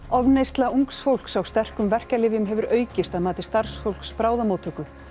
ofneysla ungs fólks á sterkum verkjalyfjum hefur aukist að mati starfsfólks bráðamóttöku